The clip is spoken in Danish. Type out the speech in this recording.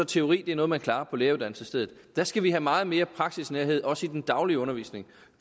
teori er noget man klarer på læreruddannelsesstedet der skal vi have meget mere praksisnærhed også i den daglige undervisning